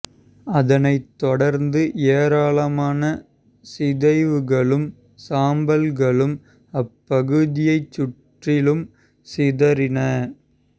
அதனைத் தொடர்ந்து ஏராளமான சிதைவுகளும் சாம்பல் களும் அப்பகுதியைச் சுற்றிலும் சிதறின